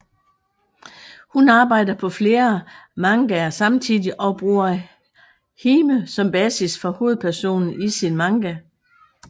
Hun arbejder på flere mangaer samtidig og bruger Hime som basis for hovedpersonen i sin manga